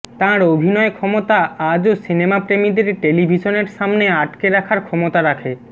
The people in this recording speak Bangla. তাঁর অভিনয় ক্ষমতা আজও সিনেমা প্রেমীদের টেলিভিশনের সামনে আটকে রাখার ক্ষমতা রাখে